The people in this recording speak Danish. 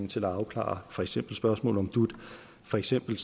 til at afklare for eksempel spørgsmålet om dut for eksempel